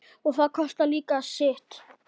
og það kostar líka sitt.